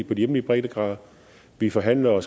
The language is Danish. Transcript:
på de hjemlige breddegrader vi forhandler og